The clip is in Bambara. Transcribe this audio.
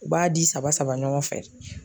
U b'a di saba saba ɲɔgɔn fɛ.